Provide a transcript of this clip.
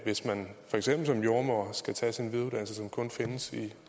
hvis man for eksempel som jordemoder skal tage sin videreuddannelse som kun findes i